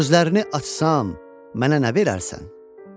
Gözlərini açsan, mənə nə verərsən?